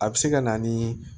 A bɛ se ka na ni